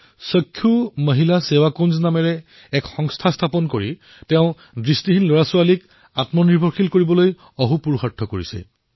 চক্ষু মহিলা সেৱাকুঞ্জ নামৰ এটা সংস্থা স্থাপন কৰি নেত্ৰহীন শিশুসকলক আত্মনিৰ্ভৰ কৰি তোলাৰ পুণ্য কৰ্মত তেওঁ ব্যস্ত